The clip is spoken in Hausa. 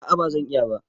A'a ba zan iya ba.